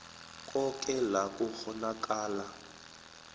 koke la kukghonakala